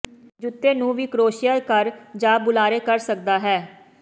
ਜੁੱਤੇ ਨੂੰ ਵੀ ਕਰੋਸ਼ੀਆ ਕਰ ਜ ਬੁਲਾਰੇ ਕਰ ਸਕਦਾ ਹੈ